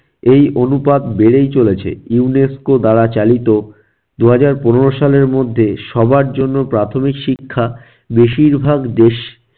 এই অনুপাত বেড়েই চলেছে UNESCO দ্বারা চালিত দুহাজার পনেরো সালের মধ্যে সবার জন্য প্রাথমিক শিক্ষা বেশিরভাগ দেশ